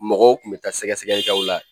Mɔgɔ tun bɛ taa sɛgɛsɛgɛlikɛw la